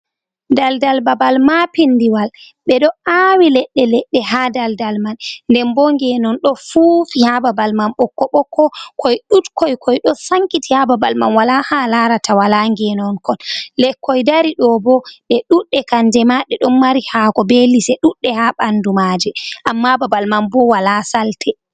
Daldal babal maapinndiwal, ɓe ɗo aawi leɗɗe leɗɗe haa daldal man. Nden bo ngeenon ɗo fuufi haa babal man ɓokko-ɓokko koy ɗuuɗkoy, koy do sankiti ha babal man walaa ha a laarataa walaa ngeenon kon. lekkoy dari ɗoo bo ɗe ɗudde kannje maa ɗe ɗon mari haako bee lise ɗuɗɗe ha ɓanndu maaje, amma babal man bo walaa salte.